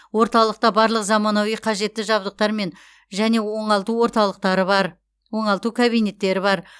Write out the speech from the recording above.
орталықта барлық заманауи қажетті жабдықтар мен және оңалту орталықтары бар оңалту кабинеттері бар